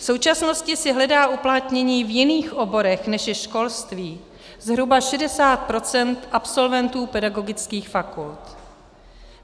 V současnosti si hledá uplatnění v jiných oborech, než je školství, zhruba 60 % absolventů pedagogických fakult.